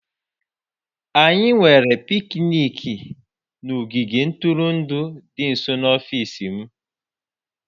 Anyị nwere picnic n'ogige ntụrụndụ dị nso n'ọfịs m